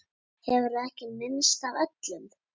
Hefurðu ekki minnst af öllum?